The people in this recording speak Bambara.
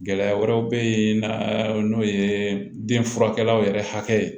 Gɛlɛya wɛrɛw bɛ ye n'an n'o ye den furakɛlaw yɛrɛ hakili ye